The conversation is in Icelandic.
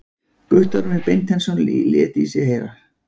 Guttormur Beinteinsson í sér heyra.